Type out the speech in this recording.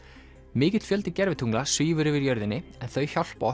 mikill fjöldi gervitungla svífur yfir jörðinni þau hjálpa